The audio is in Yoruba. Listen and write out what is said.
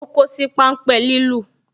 O kosi pan ń pe lilu